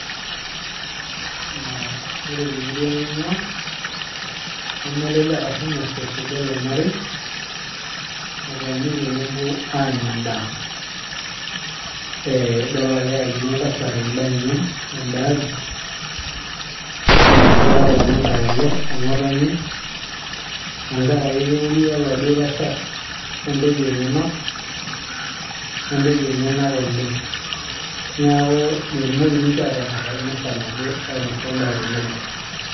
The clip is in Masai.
uh, ore temurua naing'ua naa nemelelek ashu mesesh idol olmarei etoni tenebo aaanya endaa ee idol ake eyakini oltasat endaa enye ten'da aji nenya inkera tenangay alo ong'otonye tenkaraki keuria oladuo tasat ontoyie enyenak oleng niaku metumoki ninche atang'arr emisa nabo ainosa endaa tenebo.